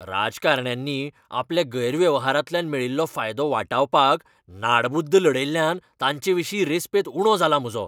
राजकारण्यांनी आपल्या गैरवेव्हारांतल्यान मेळिल्लो फायदो वाटावपाक नाडबुद्द लडयल्ल्यान तांचेविशीं रेस्पेत उणो जाला म्हजो.